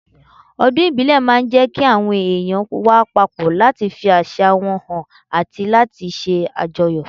Ọdún ìbílẹ̀ máa ń jẹ́ kí àwọn èèyàn wà papọ̀ láti fi àṣà wọn hàn àti láti ṣe àjọyọ̀